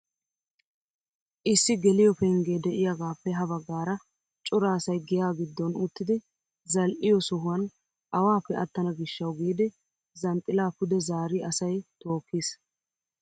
Issi geliyoo penggee de'iyaagaappe ha baggaara cora asay giyaa giddon uttidi zal"iyoo sohuwaan awaappe attana gishshawu giidi zanxxilaa pude zaari asay tookkiis!